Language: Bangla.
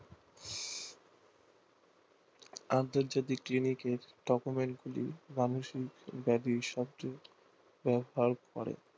আন্তর্জাতিক গুলি কে document গুলি ব্যবহার করে